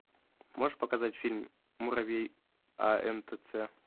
можешь показать фильм муравей антц